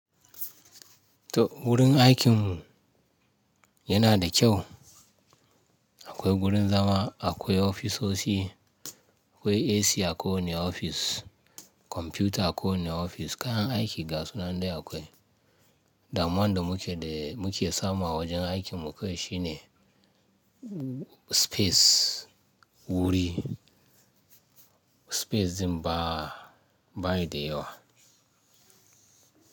To wurin aikin mu yana da kyau. Akwai gurin zama, akwai ofisosi, akwai AC a kowane ofis, kwamfuta a kowane ofis, kayan aiki gasu nan dai akwai. Damuwan da muke da muke samu a wajen aikin mu kawai shine space wuri. Space ɗin ba, ba yi da yawa.